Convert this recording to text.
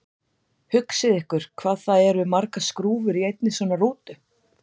Hugsið ykkur hvað það eru margar skrúfur í einni svona rútu!